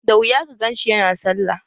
Da wuya ka ganshi yana sallah